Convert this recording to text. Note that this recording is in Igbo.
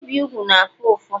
ibi úgwù na-afụ ụfụ